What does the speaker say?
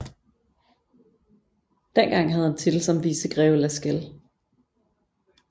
Dengang havde han titel som vicegreve Lascelles